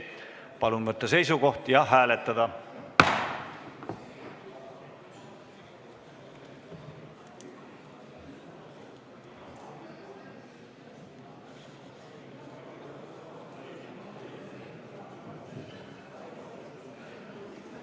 Palun võtta seisukoht ja hääletada!